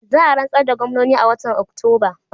Za a rantsar da gwamnoni a watan Oktoba.